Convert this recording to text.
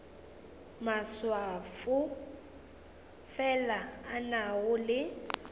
maswafo fela a nago le